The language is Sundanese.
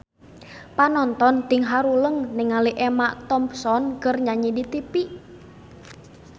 Panonton ting haruleng ningali Emma Thompson keur nyanyi di tipi